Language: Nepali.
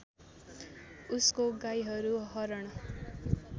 उसको गाईहरू हरण